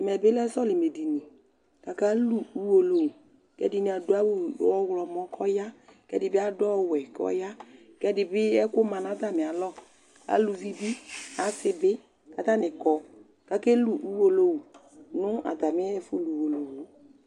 Ɛmɛ bɩ lɛ sɔlɩmɛdini kʋ akalu uwolowu kʋ ɛdɩnɩ adʋ ɔɣlɔmɔ kʋ ɔya kʋ ɛdɩ bɩ adʋ ɔwɛ kʋ ɔya kʋ ɛdɩ bɩ ɛkʋma nʋ atamɩalɔ Aluvi bɩ, asɩ bɩ kʋ atanɩ kɔ kʋ akelu uwolowu nʋ atamɩ ɛfʋlu uwolowu yɛ